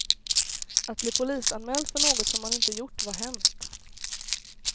Att bli polisanmäld för något som man inte gjort var hemskt.